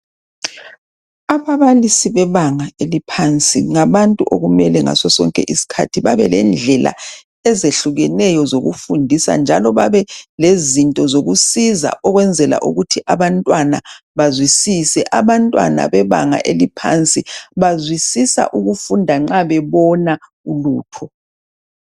Ababalisi bebanga eliphansi ngabantu okumelengasosonke isikhathi bebelendlela ezehlukeneyo zokufundisa. Abantwana besikolo sebanga eliphansi bazwisisa nxa bebona ulutho.